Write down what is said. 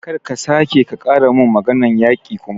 Kar ka sake ka ƙara mun maganar yaƙi kuma!